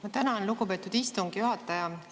Ma tänan, lugupeetud istungi juhataja!